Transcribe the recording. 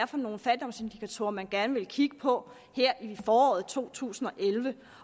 for nogle fattigdomsindikatorer man gerne ville kigge på her i foråret to tusind